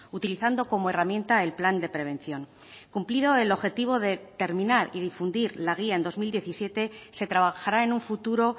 utilizando como herramienta el plan de prevención cumplido el objetivo de terminar y difundir la guía en dos mil diecisiete se trabajará en un futuro